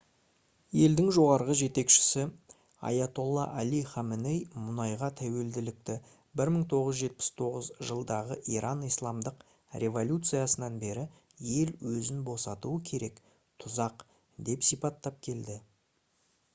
елдің жоғарғы жетекшісі айатолла али хаменей мұнайға тәуелділікті 1979 жылдағы иран исламдық революциясынан бері ел өзін босатуы керек «тұзақ» деп сипаттап келді